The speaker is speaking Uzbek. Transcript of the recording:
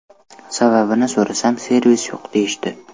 Sababini so‘rasam, servis yo‘q deyishdi.